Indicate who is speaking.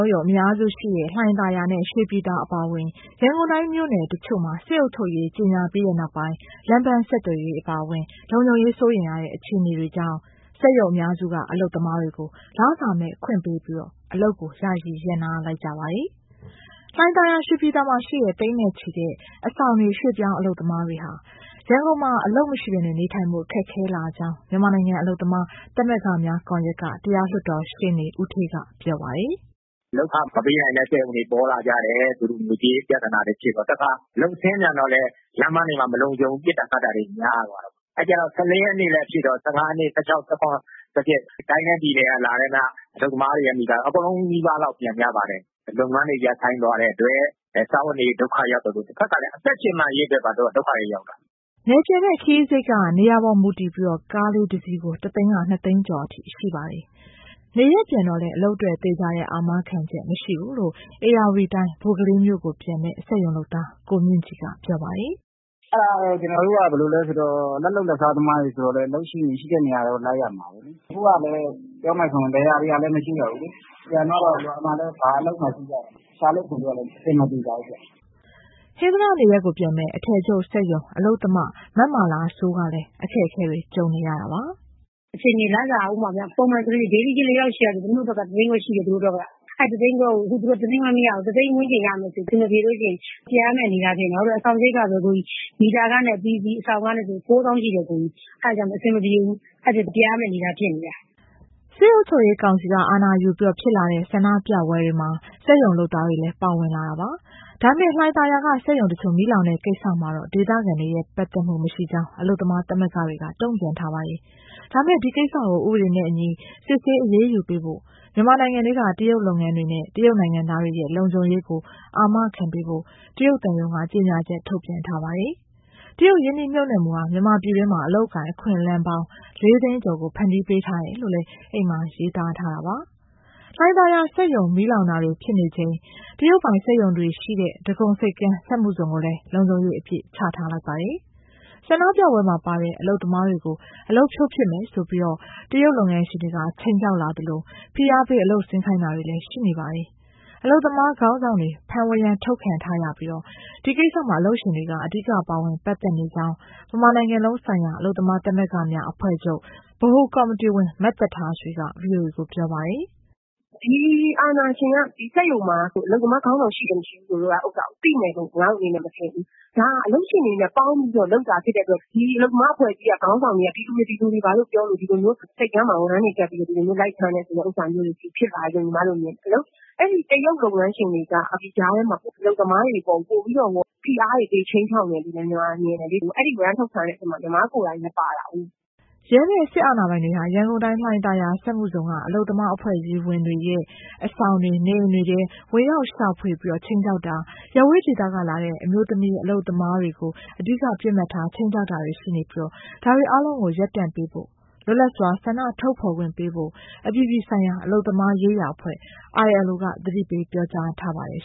Speaker 1: ုံ အများစုရှိတဲ့ လှိုင်သာယာနဲ့ ရွှေပြည်သာ အပါအဝင် ရန်ကုန်တိုင်းမြို့နယ် တချို့မှာ စစ်အုပ်ချုပ်ရေးကြေညာပြီးနောက်ပိုင်း လမ်းပန်း ဆက်သွယ်ရေးအပါအဝင် လုံခြုံရေးစိုးရိမ်ရတဲ့ အခြေအနေတွေကြောင့် စက်ရုံအများစုက အလုပ်သမားတွေကို လစာမဲ့ခွင့်ပေးပြီး အလုပ်ကို ယာယီရပ်နား လိုက်ကြပါတယ်။ လှိုင်သာယာ၊ ရွှေပြည်သာမှာ ရှိတဲ့ သိန်းနဲ့ချီတဲ့ အဆောင်နေ ရွှေ့ပြောင်း အလုပ်သမားတွေဟာ ရန်ကုန်မှာ အလုပ်မရှိဘဲ နေထိုင်ဖို့ ခက်ခဲလာကြောင်း မြန်မာနိုင်ငံ အလုပ်သမား သမဂ္ဂများကွန်ရက်က တရားလွှတ်တော်ရှေ့နေ ဦးဌေးက ပြောပါတယ်။ “
Speaker 2: လုပ်ခမပေးတဲ့ စက်ရုံတွေ ပေါ်လာကြတယ် ငွေကြေးပြဿနာတွေ ဖြစ်တော့၊ တခါ အလုပ်ဆင်းပြန်တော့လည်း လမ်းပန်းတွေမှာ မလုံခြုံဘူး ပစ်တာခတ်တာတွေ များတော့။ အဲဒီတော့ ၁၄ ရက်နေ့လည်းဖြစ်ရော ၁၅၊ ၁၆၊ ၁၇၊ ၁၈ တိုင်းနဲ့ပြည်နယ်ကလာတဲ့ အလုပ်သမားတွေ အကုန်နီးပါး ပြန်ကြတယ်။ လုပ်ငန်းတွေ ရပ်ဆိုင်းသွားတဲ့အတွက် စားဝတ်နေရေး ဒုက္ခရောက်သလို တဖက်ကလည်း အသက်ရှင်သန်ရေး အတွက်ပါ ဒုက္ခတွေ ရောက်တာ။
Speaker 1: ” နယ်ပြန်တဲ့ ခရီးစရိတ်က နေရာပေါ်မူတည်ပြီး ကားလေးတစီးကို တသိန်းက ၂သိန်းကျော်အထိ ရှိပါတယ်။ နေရပ်မှာလည်း အလုပ်အတွက် သေချာတဲ့ အာမခံချက် မရှိသေးကြောင်း ဧရာဝတီတိုင်း ဘိုကလေးမြို့ပြန်မယ့် စက်ရုံလုပ်သား ကိုမြင့်ကြည်က ပြောပါတယ်။
Speaker 2: “ အဲဒါက ကျနော်တို့က ဘယ်လိုလဲဆိုတော့ လက်လုပ်လက်စား သမားတွေဆိုတော့လည်း အလုပ်မရှိရင် ရှိတဲ့နေရာကို လိုက်ရမှာပဲ။ အခုဆိုရင် ပြောရမယ်ဆိုရင် လယ်ယာတွေကလည်း မရှိတော့ဘူးလေ။ ပြန်သွားတော့ ရွာမှာလည်း ဘာအလုပ်မှမရှိတော့ ရှာလို့ဖွေလို့ကလည်း အဆင်မပြေ ကြဘူးပေါ့။
Speaker 1: ” ဟင်္သာတ နေရပ်ကိုပြန်မယ့် အထည်ချုပ် စက်ရုံလုပ်သား မမာလာစိုး ကလည်း “ လစ
Speaker 2: ာက ပုံမှန် daily ကြေး ၄၈၀၀ ဆိုရင် သမီးတို့အတွက်က၊ အဲဒီ ၁၅၀၀၀၀ ကို ၁၅၀၀၀၀ မရဘူး ၁ သိန်းဝန်းကျင်ရမယ်ဆိုရင် ပြန်ရမယ့် အနေအထား ဖြစ်နေတယ် ဘာဖြစ်လို့လဲဆိုတော့ အဆောင်စရိတ်ကပဲ မီတာခနဲ့ အပြီးအစီး အဆောင်ခနဲ့ဆိုရင် ၉၀၀၀၀ ရှိတယ်၊ အဲဒါမို့ အဆင်မပြေဘူး ပြန်ရမယ့် အနေအထား ဖြစ်နေတယ်။
Speaker 1: ” စစ်အုပ်ချုပ်ရေးကောင်စီ အာဏာယူပြီး ဖြစ်လာတဲ့ ဆန္ဒပြပွဲတွေမှာ စက်ရုံလုပ်သားတွေလည်း ပါဝင်လာပါတယ်။ ဒါပေမဲ့ လှိုင်သာယာက စက်ရုံတချို့ မီးလောင်တဲ့ကိစ္စမှာတော့ ဒေသခံတွေရဲ့ ပတ်သက်မှုမရှိကြောင်း အလုပ်သမား သမဂ္ဂတွေက တုံ့ပြန်ထားပါတယ်။ ဒါပေမဲ့ ဒီကိစ္စကို ဥပဒေနဲ့အညီ စစ်ဆေးအရေးယူပေးဖို့၊ မြန်မာနိုင်ငံထဲက တရုတ်လုပ်ငန်းတွေနဲ့ တရုတ်နိုင်ငံသားတွေရဲ့ လုံခြုံရေးကို အာမခံပေးဖို့ တရုတ်သံရုံးက ကြေညာချက် ထုတ်ထားပါတယ်။ တရုတ်ရင်းနှီးမြှုပ်နှံမှုဟာ မြန်မာပြည်တွင်းမှာ အလုပ်အကိုင် အခွင့်အလမ်းပေါင်း ၄ သိန်းကျော်ကို ဖန်တီးပေးထား တယ်လို့လည်း အဲဒီမှာရေးသား ထားတာပါ။ လှိုင်သာယာမှာ စက်ရုံမီးလောင်တာတွေ ဖြစ်နေချိန် တရုတ်ပိုင် စက်ရုံတွေရှိတဲ့ ဒဂုံဆိပ်ကမ်း စက်မှုဇုန်ကိုလည်း လုံခြုံရေးအပြည့် ချထားလိုက်ပါတယ်။ ဆန္ဒပြပွဲမှာပါတဲ့ အလုပ်သမားတွေကို အလုပ်ဖြုတ်မယ်ဆိုပြီး တရုတ်လုပ်ငန်းရှင်တွေက ခြိမ်းခြောက်လာသလို ဖိအားပေး အလုပ်ဆင်းခိုင်းတာတွေ ရှိနေပါတယ်။ အလုပ်သမား ခေါင်းဆောင်တွေ ဖမ်းဝရမ်းထုတ်ခံရပြီး ဒီကိစ္စမှာ အလုပ်ရှင်တွေက အဓိကပါဝင် ပတ်သက်နေကြောင်း ဗမာနိုင်ငံလုံးဆိုင်ရာ အလုပ်သမား သမဂ္ဂများ အဖွဲ့ချုပ် ဗဟိုကော်မတီဝင် သက်ထားဆွေက ဗွီအိုအေကို ပြောပါတယ်။ “ အာဏာရှင်တွေက
Speaker 2: ဒီစက်ရုံမှာ အလုပ်သမားခေါင်းဆောင် ရှိတယ်၊ မရှိဘူးဆိုတာ သိမယ်လို့ မထင်ဘူး။ ဒါဟာ အလုပ်ရှင်တွေနဲ့ ပေါင်းပြီးလုပ်တာ ဖြစ်တဲ့အတွက် ဒီအလုပ်သမားအဖွဲ့အစည်းက ခေါင်းဆောင်တွေက ဒီလူတွေပါလို့ပြောလို့ ဆိပ်ကမ်းမှာ ဝရမ်းတွေကပ်ပြီး လိုက်ဖမ်းတဲ့ဟာမျိုးတွေ ဖြစ်လာတယ်လို့ မြင်တယ်။ အဲဒီတရုတ် လုပ်ငန်းရှင်တွေက ဒီကြားထဲမှာ အလုပ်သမားတွေအပေါ် ပိုပြီးတော့ ဖိအားတွေပေး ခြိမ်းခြောက်နေတယ်လို့ ညီမကမြင်တယ်၊ အဲဒီဝရမ်းထုတ်ခံ ရတဲ့အထဲမှာ ညီမကိုယ်တိုင်လည်း ပါတာကိုး။”
Speaker 1: ရဲနဲ့စစ်အာဏာပိုင်တွေဟာ ရန်ကုန်တိုင်း၊ လှိုင်သာယာ စက်မှုဇုန်က အလုပ်သမား အဖွဲ့အစည်းဝင်တွေရဲ့ အဆောင်တွေ၊ နေအိမ်တွေထဲ ဝင်ရောက်ရှာဖွေပြီး ခြိမ်းခြောက်တာ၊ ရပ်ဝေးဒေသကလာတဲ့ အမျိုးသမီး အလုပ်သမတွေကို အဓိက ပစ်မှတ်ထား ခြိမ်းခြောက်တာရှိနေပြီး ဒါတွေအားလုံးကို ရပ်တန့်ပေးဖို့၊ လွတ်လပ်စွာ ဆန္ဒထုတ်ဖော်ခွင့်ပေးဖို့ အပြည်ပြည်ဆိုင်ရာ အလုပ်သမားရေးရာအဖွဲ့ ILO က သတ
Speaker 2: ိပေး ပြောကြားထားပါတယ်